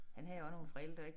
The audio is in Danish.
Han havde også nogle forældre ik